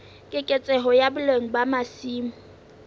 keketseho ya boleng ba masimo